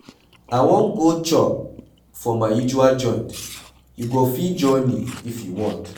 I wan go chop for my usual joint, you go fit join me if you want.